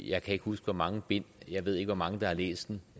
jeg kan ikke huske hvor mange bind jeg ved ikke hvor mange der har læst den